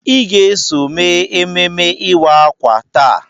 Ị ga-eso mee ememme ịwa ákwà taa!